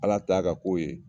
Ala ta y'a k'a kow ye.